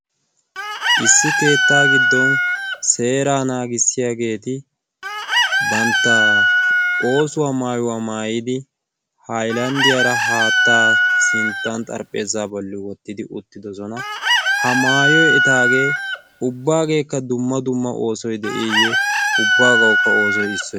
issi keettaa giddon seeraa naagissiyaageeti bantta oosuwaa maayuwaa maayidi hailanddiyaara haattaa sinttan xarphpheesaa bolli wottidi uttidosona ha maayoy etaagee ubbaageekka dumma dumma oosoy de'iiyye ubbaagaukka oosoy isso